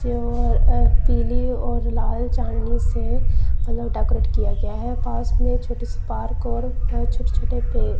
पीली और लाल चांदनी से अलग डेकोरेट किया गया है पास में छोटी से पार्क और छोटे छोटे पेड़--